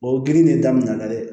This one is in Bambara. O girin de daminɛna dɛ